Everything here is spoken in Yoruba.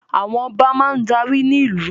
Àwọn Ọba máa darí ní ìlú